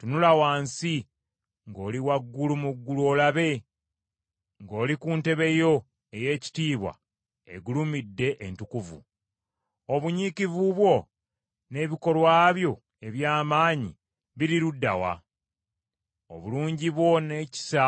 Tunula wansi ng’oli waggulu mu ggulu olabe, ng’oli ku ntebe yo ey’ekitiibwa egulumidde entukuvu. Obunyiikivu bwo n’ebikolwa byo eby’amaanyi biri ludda wa? Obulungi bwo n’ekisa